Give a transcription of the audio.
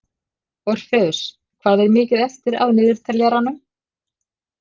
Orfeus, hvað er mikið eftir af niðurteljaranum?